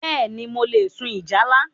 Bẹ́ẹ̀ni, mo le sun ìjálá